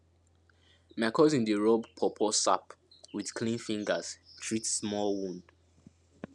my cousin dey rub pawpaw sap with clean fingers treat small would